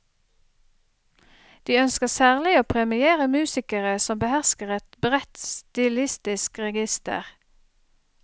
De ønsker særlig å premiere musikere som behersker et bredt stilistisk register.